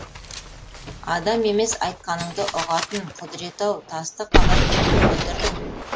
адам емес айтқаныңды ұғатын құдіреті ау тасты қалай көндірдің